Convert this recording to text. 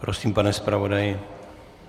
Prosím, pane zpravodaji.